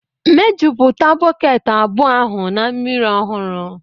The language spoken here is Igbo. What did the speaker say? mejupụta bọket abụọ ahụ na mmiri ọhụrụ